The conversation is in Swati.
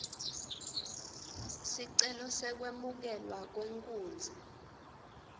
sicelo sekwemukelwa kwenkunzi